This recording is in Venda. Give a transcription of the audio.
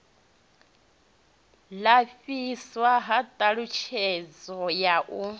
lapfiswa ha ṱhalutshedzo ya u